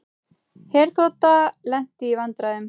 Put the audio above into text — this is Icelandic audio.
Herþota lenti í vandræðum